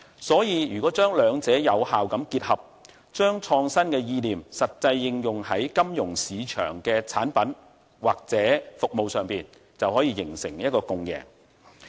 所以，如果將兩者有效結合，將創新意念實際應用在金融市場的產品或服務上，便能夠形成共贏。